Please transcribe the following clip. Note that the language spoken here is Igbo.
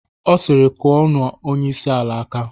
Ọ siri"Kụorọ nụ onyeisi ala aka".